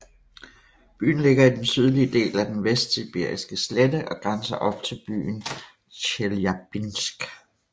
Byen ligger i den sydlige del af den Vestsibiriske slette og grænser op til byen Tjeljabinsk